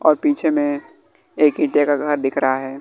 और पीछे में एक ईंटे का घर दिख रहा है।